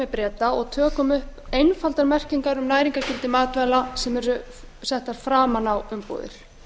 breta og tökum upp einfaldar merkingar um næringargildi matvæla sem eru settar framan á umbúðir